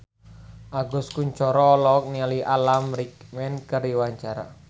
Agus Kuncoro olohok ningali Alan Rickman keur diwawancara